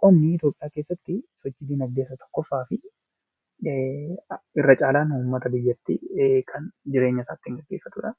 Qonnii Itiyoophiyaa keessattii hojii diinagdee isa tokkooffaa fi irra caalaan uummata biyyattii kan jireenyasaa ittiin geggeeffatudhaa.